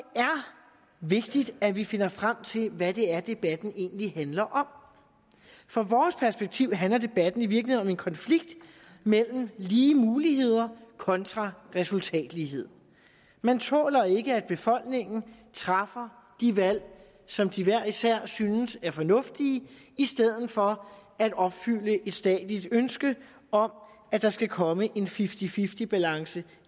vigtigt at vi finder frem til hvad det er debatten egentlig handler om fra vores perspektiv handler debatten i virkeligheden om en konflikt mellem lige muligheder kontra resultatlighed man tåler ikke at befolkningen træffer de valg som de hver især synes er fornuftige i stedet for at opfylde et statsligt ønske om at der skal komme en fifty fifty balance